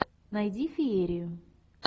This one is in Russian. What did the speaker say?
найди феерию